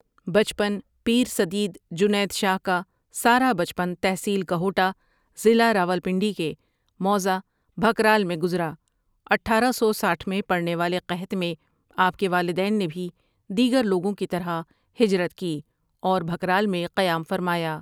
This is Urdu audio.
بچپن پیر سدید جنید شاہ ۃؒ کا سارا بچپن تحصیل کہوٹہ ضلع راولپنڈی کے موضع بھکرال میں گزارا اٹھارہ سو سٹھ میں پڑنے والے قحط میں آپ کے والدین نے بھی دیگر لوگوں کی طرح ہجرت کی اور بھکرال میں قیام فرمایا ۔